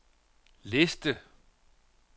liste